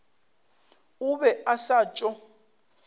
o be a sa tšo